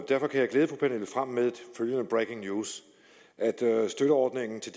derfor kan jeg glæde fru pernille frahm med følgende breaking news støtteordningen til